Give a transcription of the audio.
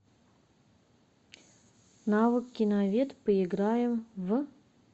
навык киновед поиграем в